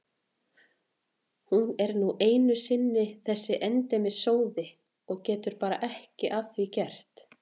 Hún er nú einu sinni þessi endemis sóði og getur bara ekki að því gert.